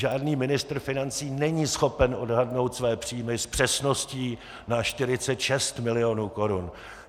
Žádný ministr financí není schopen odhadnout své příjmy s přesností na 46 milionů korun!